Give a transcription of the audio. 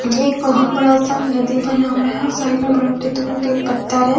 ये एक बहुत बड़ा सा नदि बना हुआ है और साइड में बड़ा पत्थर है।